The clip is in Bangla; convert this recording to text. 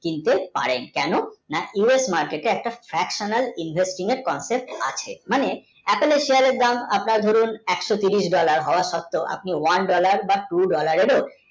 কিনতে পারেন কোনো না কি us market তে একটা invest আছে মানে apple shear এর দাম আপনার দরুন একশো তিরিশ dollar হওয়া সৎতেই one dollar বা tu dollar তাই তো